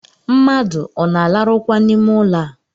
Mmadụ ọ na-alarụkwa n’ime ụlọ a?